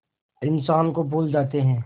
इंसान को भूल जाते हैं